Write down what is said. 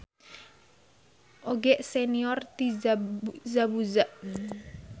Oge senior ti Zabuza.